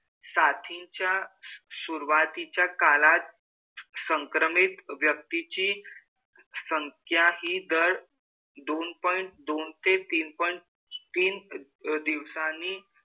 साथीच्या सुरुवातीच्या काळात संक्रमित व्यक्तीची संख्या हि दर दोन point दोन ते तीन point तीन दिवसांनी,